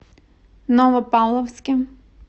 новопавловске